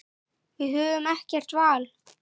Við höfum ekkert val.